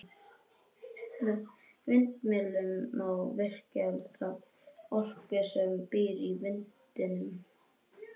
Með vindmyllum má virkja þá orku sem býr í vindinum.